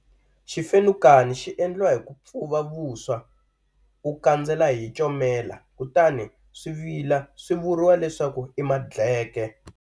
Xifenukani xi endliwa hi ku pfuva vuswa u kandzela hi comela, kutani swi vila swi vuriwa leswaku i madleke.